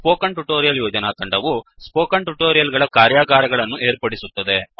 spoken tutorial ಯೋಜನಾ ತಂಡವು spoken tutorial ಗಳ ಕಾರ್ಯಾಗಾರಗಳನ್ನು ಏರ್ಪಡಿಸುತ್ತದೆ